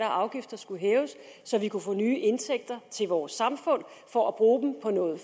afgifter skulle hæves så vi kunne få nye indtægter til vores samfund for at bruge dem på noget